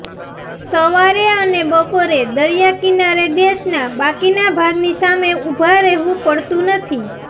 સવારે અને બપોરે દરિયા કિનારે દેશના બાકીના ભાગની સામે ઊભા રહેવું પડતું નથી